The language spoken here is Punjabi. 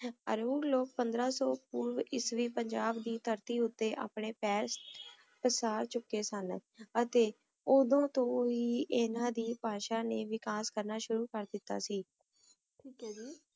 ਆਰੂਗ ਲੋਕ ਪੰਦਰਾਂ ਸੂ ਪੋਰਵ ਈਸਵੀ ਪੰਜਾਬ ਦੀ ਧਰਤੀ ਉਤੇ ਅਪਨੇ ਪੈਰ ਪਸਾਰ ਚੁਕੇ ਸਨ ਅਤੀ ਓਦੋਂ ਤੋਂ ਵੀ ਇਨਾਂ ਦੀ ਭਾਸ਼ਾ ਨੇ ਵਿਕਾਸ ਕਰਨਾ ਸ਼ੁਰੂ ਕਰ ਦਿਤਾ ਸੀ ਠੀਕ ਆਯ ਜੀ